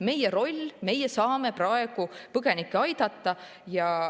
Meie roll on, et meie saame praegu põgenikke aidata.